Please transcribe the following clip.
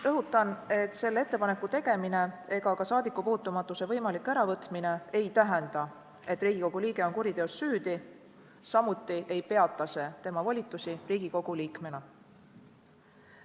Rõhutan, et selle ettepaneku tegemine ega ka saadikupuutumatuse võimalik äravõtmine ei tähenda, et Riigikogu liige on kuriteos süüdi, samuti ei peata see tema volitusi Riigikogu liikmena.